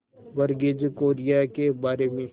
वर्गीज कुरियन के बारे में